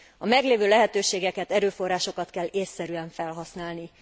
A meglévő lehetőségeket, erőforrásokat kell ésszerűen felhasználni.